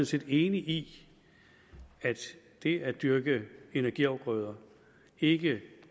set enig i at det at dyrke energiafgrøder ikke